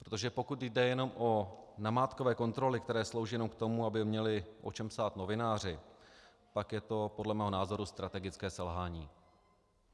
Protože pokud jde jenom o namátkové kontroly, které slouží jenom k tomu, aby měli o čem psát novináři, pak je to podle mého názoru strategické selhání.